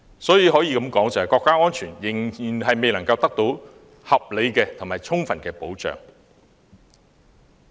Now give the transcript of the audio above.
所以，國家安全可說是仍未得到合理和充分保障。